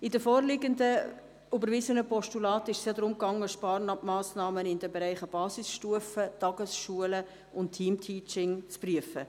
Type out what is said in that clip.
In den vorliegenden überwiesenen Postulaten ging es darum, Sparmassnahmen in den Bereichen Basisstufe, Tagesschulen und Team-Teaching zu prüfen.